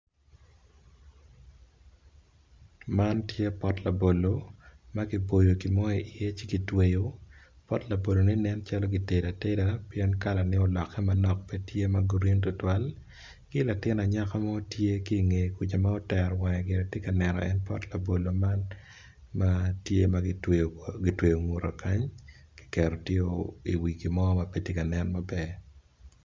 Man tye pot labolo makibolo gimoyo ci ki dwelo pot labolone nen calo gitedo ateda pien kala ne tye ma oloke manok pe tye green tutwal ki latin anyaka mo tye kingee kuca ma otero wange gire tye ka neno en pot labolo man matye magitweyo ngute kany kiketo tye opye i wi gimo ma petye ka nen maber.